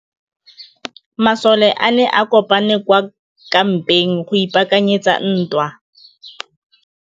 Masole a ne a kopane kwa kampeng go ipaakanyetsa ntwa.